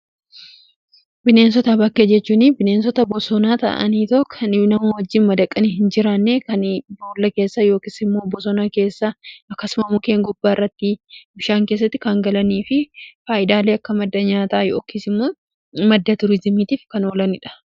Bineensota bakkee jechuun bineensota bosonaa ta'aaniitoo kan namaa wajjiin madaqanii hin jiraanne, kan boolla keessa yookiis immoo bosonaa keessa akkasuma mukeen gubbaa irratti, bishaan keessatti kan galanii fi faayidaalee akka maddeen nyaataa yookiis immoo madda tuuriizimiitiif kan oolaniidha.